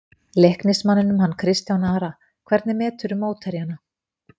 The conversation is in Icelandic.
Leiknismanninn hann Kristján Ara Hvernig meturðu mótherjana?